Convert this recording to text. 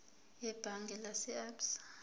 ebhange lase absa